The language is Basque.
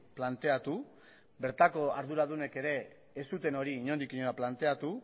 planteatu bertako arduradunek ere ez zuten hori inondik inora planteatu